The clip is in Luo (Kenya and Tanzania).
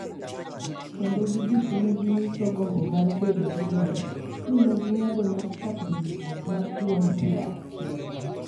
Kendo giduto ne ginyiso gombo mar bedo gi loch, mi ne ging'ado mar chako riwruok mar duond bura achiel.